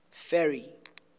ferry